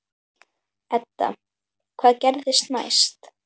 Edda: Hvað gerist næst?